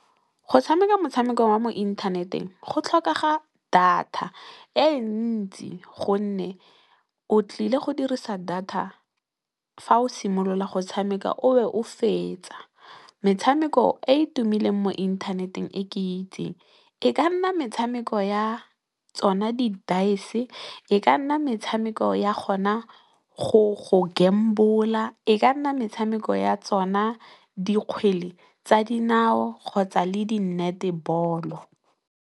Go tshameka motshameko wa mo inthaneteng go tlhokega data e ntsi gonne, o tlile go dirisa data fa o simolola go tshameka o be o fetse. Metshameko e e tumileng mo inthaneteng e ke itseng e ka nna metshameko ya tsona ditaese, e ka nna metshameko ya gona go betšha, e ka nna metshameko ya tsona dikgwele tsa dinao kgotsa le kgwele ya letlowa.